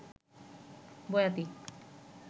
বয়াতী